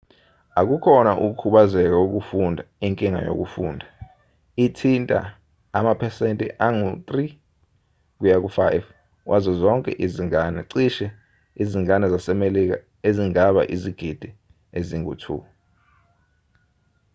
akukhona ukukhubazeka kokufunda inkinga yokufunda; ithinta amaphesenti angu-3-5 wazo zonke izingane cishe izingane zasemelika ezingaba izigidi ezingu-2